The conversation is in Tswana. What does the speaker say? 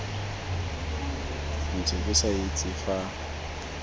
ntse ke sa itse fa